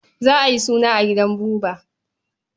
Za a yi suna a gidan Buba.